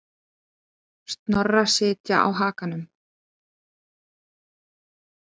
Snorra sitja á hakanum.